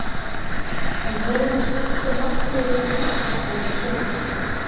En hefur hún sett sér markmið um markaskorun í sumar?